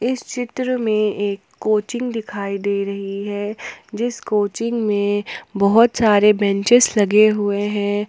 इस चित्र में एक कोचिंग दिखाई दे रही है जिस कोचिंग में बहोत सारे बेंचेज लगे हुए हैं।